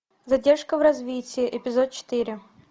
задержка в развитии эпизод четыре